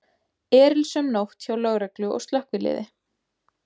Erilsöm nótt hjá lögreglu og slökkviliði